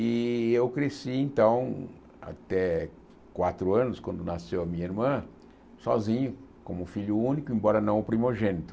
E eu cresci, então, até quatro anos, quando nasceu a minha irmã, sozinho, como filho único, embora não o primogênito.